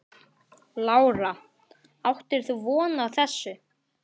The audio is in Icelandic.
Lára: Áttir þú von á þessu?